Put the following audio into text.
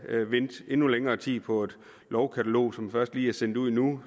vente endnu længere tid på et lovkatalog som først lige er sendt ud nu